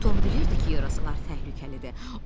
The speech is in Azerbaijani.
Tom bilirdi ki, yarasalar təhlükəlidir.